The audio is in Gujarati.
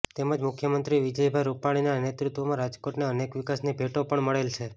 તેમજ મુખ્યમંત્રી વિજયભાઈ રૂપાણીના નેતૃત્વમાં રાજકોટને અનેક વિકાસની ભેટો પણ મળેલ છે